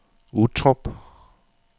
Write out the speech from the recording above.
Uttrup